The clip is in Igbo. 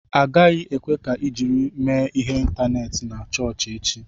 Agaghị ekwe ka ị jiri mee ihe ịntaneetị na chọọchị echi!